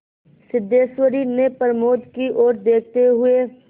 सिद्धेश्वरी ने प्रमोद की ओर देखते हुए